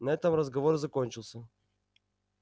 на этом разговор закончился